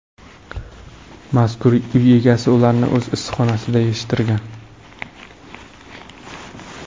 Mazkur uy egasi ularni o‘z issiqxonasida yetishtirgan.